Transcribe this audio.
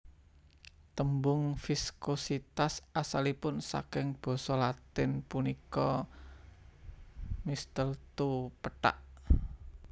Tembung viskositas asalipun saking basa Latin punika mistletoe pethak